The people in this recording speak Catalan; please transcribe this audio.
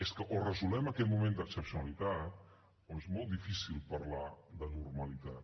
és que o resolem aquest moment d’excepcionalitat o és molt difícil parlar de normalitat